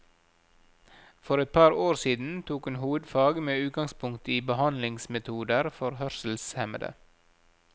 For et par år siden tok hun hovedfag med utgangspunkt i behandlingsmetoder for hørselshemmede.